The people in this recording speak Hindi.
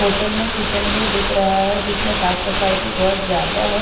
होटल में किचन भी दिख रहा है जिसमें साफ़ सफाई बहुत ज़्यादा है।